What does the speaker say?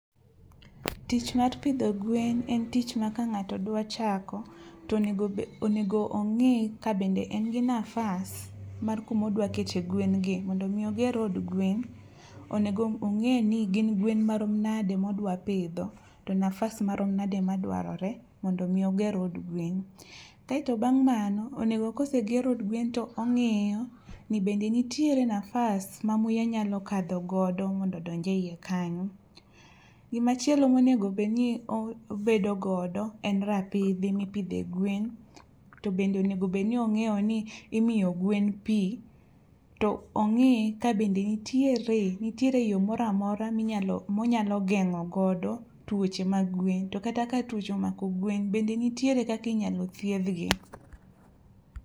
Tich mar pidho gwen en tich ma ka ng'ato dwa chako to nego onego ong'i ka bende en gi nafas mar kumodwa kete gwen gi .Mondo mi oger od gwen onego ong'e ni gin gwen marom nade modwa pidho to nafas marom nade madwarore mondo mi oger od gwen. Kaeto bang' mano onego koseger od gwen to ong'iyo ni bende nitiere nafas ma muya nyalo kadho godo mondo odonj e iye kanyo. Gimachielo monego bed ni obedo godo en rapidhi mipidhe gwen ,to bende onge obed ni ong'eyo ni imiyo gwen pii to ong'i ka bende ntiere ntiere yoo moramora minyalo monyalo konya ngeng'o godo tuoche mag gwen .To kata ka tuoche omako gwen bend ntiere kaka inyalo thiedh gi ?